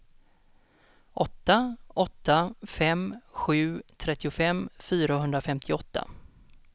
åtta åtta fem sju trettiofem fyrahundrafemtioåtta